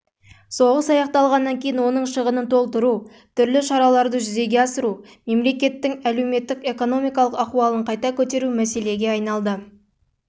соғыс аяқталып оның шығынын толтыру түрлі шараларды жүзеге асыру мемлекеттің әлеуметтік-экономикалық ахуалын қайта көтеру және халық